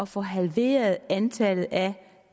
få halveret antallet af